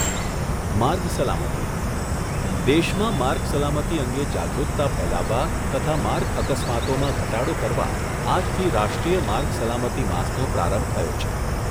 માર્ગ સલામતી દેશમાં માર્ગ સલામતી અંગે જાગૃતતા ફેલાવવા તથા માર્ગ અકસ્માતોમાં ઘટાડો કરવા આજથી રાષ્ટ્રીય માર્ગ સલામતી માસનો પ્રારંભ થયો છે.